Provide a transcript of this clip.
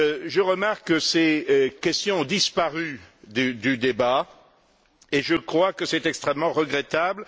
Je remarque que ces questions ont disparu du débat et je crois que c'est extrêmement regrettable.